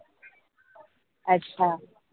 अच्छा